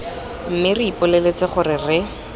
mme re ipoleletse gore re